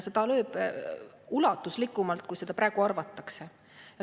Ta lööb ulatuslikumalt, kui praegu arvatakse.